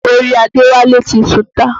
Orí Àdéwálé ti sùnta.